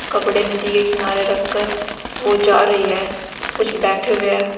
कपड़े नदी के किनारे रखकर वो जा रही है कुछ बैठे हुए हैं।